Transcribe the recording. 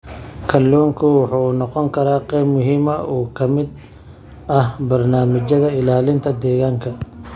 Kalluunku wuxuu noqon karaa qayb muhiim ah oo ka mid ah barnaamijyada ilaalinta deegaanka.